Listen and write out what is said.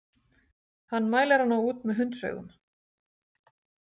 Hann mælir hana út með hundsaugum.